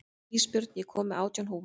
Ísbjörn, ég kom með átján húfur!